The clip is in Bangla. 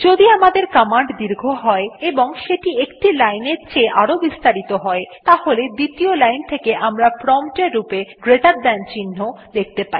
যদি আমাদের কমান্ড দীর্ঘ হয় এবং সেটি একটি লাইনের চেয়ে আরও বেশি বিস্তারিত হয় তাহলে দ্বিতীয় লাইন থেকে আমরা প্রম্পট এর রূপে গ্রেটের থান চিহ্ন জিটি দেখতে পাই